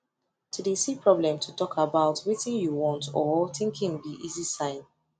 to de see problem to talk about wetin you want or thinking be easy sign